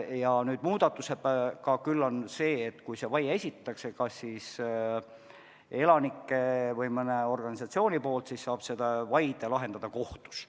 Plaanitava muudatusega on aga sedasi, et kui vaie esitatakse – kas elanike või mõne organisatsiooni poolt –, siis saab selle lahendada kohus.